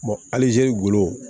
halizeriw